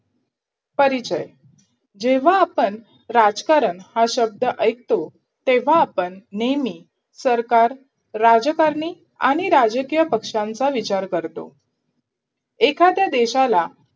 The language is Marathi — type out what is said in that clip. परिचय जेव्हा आपण राजकारण हा शब्द ऐकतो तेव्हा आपण नेहमी सरकार, राजकारणी आणि राजकीय पक्षांचा विचार करतो एखद्या देशाला